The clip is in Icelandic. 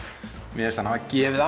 mér fannst hann hafa gefið